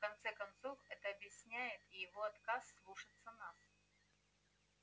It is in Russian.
в конце концов это объясняет и его отказ слушаться нас